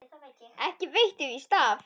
Ekki veitti víst af.